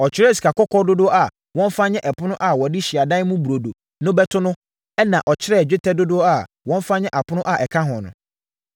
Ɔkyerɛɛ sikakɔkɔɔ dodoɔ a wɔmfa nyɛ ɛpono a wɔde Hyiadan mu Burodo no bɛto so ɛnna ɔkyerɛɛ dwetɛ dodoɔ a wɔmfa nyɛ apono a ɛka ho no.